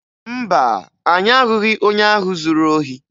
Mba, anyị ahụghị onye ahụ zuru ohi